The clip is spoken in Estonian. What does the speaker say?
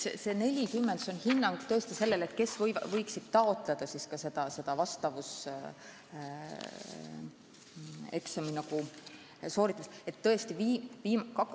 See arv 40 – nii palju on tõesti inimesi, kes võiksid taotleda vastavuseksami sooritamist.